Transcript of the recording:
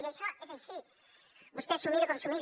i això és així vostè s’ho miri com s’ho miri